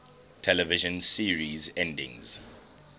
television series endings